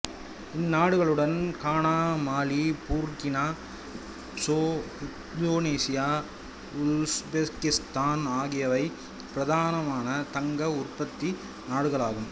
இந்நாடுகளுடன் Ghana Mali Burkina Faso Indonesia Uzbekistan ஆகியவையும் பிரதான தங்க உற்பத்தி நாடுகள் ஆகும்